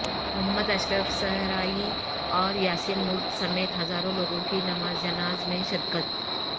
محمد اشرف صحرائی اور یاسین ملک سمیت ہزاروںلوگوں کی نماز جناز میں شرکت